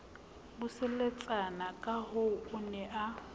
buseletsana kahoo o ne a